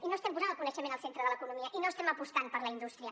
i no estem posant el coneixement al centre de l’economia i no estem apostant per la indústria